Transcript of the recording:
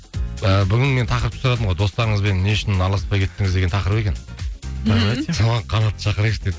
і бүгін мен тақырыпты сұрадым ғой достарыңызбен не үшін араласпай кеттіңіз деген тақырып екен соған қанатты шақырайықшы деп